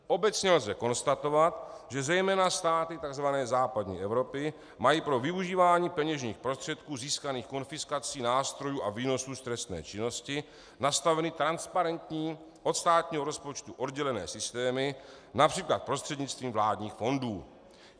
Obecně lze konstatovat, že zejména státy tzv. západní Evropy mají pro využívání peněžních prostředků získaných konfiskací nástrojů a výnosů z trestné činnosti nastaveny transparentní, od státního rozpočtu oddělené systémy, například prostřednictvím vládních fondů.